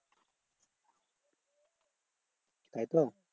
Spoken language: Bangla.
তাইতো?